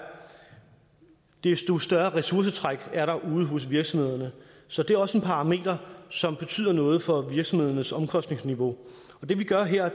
desto større ressourcetræk er der ude hos virksomhederne så det er også en parameter som betyder noget for virksomhedernes omkostningsniveau det vi gør her